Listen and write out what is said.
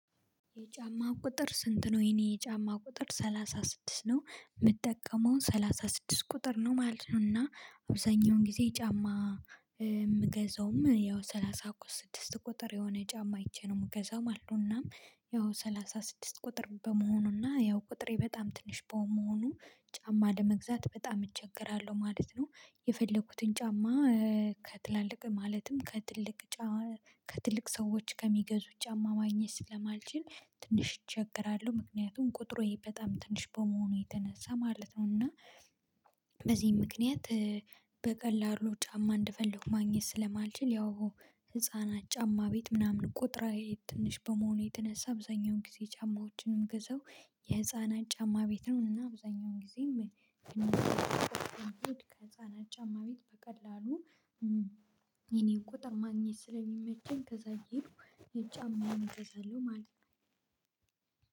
የጫማ ቁጥር ስንት ነው? የኔ የጫማ ቁጥር ሰላሳ ስድስት ነው የምጠቀመውን ሰላሳ ስድስት ቁጥር ነው ማለት ነው እና አብዛኛውን ጊዜ ጫማ የምገዛውም ያው ሰላሳ እኮ ስድስት ቁጥር የሆነ ጫማ አይቼ ነው መገዛም አለውና ያው ሰላሳ ስድስት ቁጥር በመሆኑና ያው ቁጥሬ በጣም ትንሽ በመሆኑ ጫማ ለመግዛት በጣም እቸገራለሁ ማለት ነው የፈለኩትን ጫማ ከትላልቅ ማለትም ከትልቅ ጫ ከትልቅ ሰዎች ከሚገዙት ጫማ ማግኘት ስለማልችል ትንሽ እቸገራለሁ ምክንያቱም ቁጥሮዬ በጣም ትንሽ በመሆኑ የተነሳ ማለት ነው እና በዚህ ምክንያት በቀላሉ ጫማ እንደፈለኩ ማግኘት ስለማልችል ያው ህፃናት ጫማ ቤት ምናምን ቁጥራዊ ትንሽ በመሆኑ የተነሳ አብዛኛውን ጊዜ ጫማዎችን እምገዘው የህፃናት ጫማ ቤት ነውና አብዛኛውን ጊዜም ከጫማ ጫማ ቤት በቀላሉ የእኔን ቁጥር ማግኘት ስለሚመቸኝ ከዛ እየሄድኩ የጫማዬን እገዛለሁ ማለት ነው